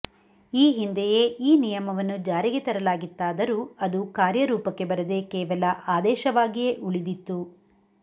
ಈ ಹಿಂದೆಯೇ ಈ ನಿಯಮವನ್ನು ಜಾರಿಗೆ ತರಲಾಗಿತ್ತಾದರೂ ಅದು ಕಾರ್ಯರೂಪಕ್ಕೆ ಬರದೆ ಕೇವಲ ಆದೇಶವಾಗಿಯೇ ಉಳಿದಿತ್ತು